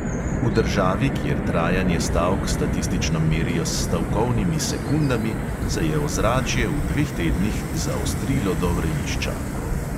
V državi, kjer trajanje stavk statistično merijo s "stavkovnimi sekundami", se je ozračje v dveh tednih zaostrilo do vrelišča.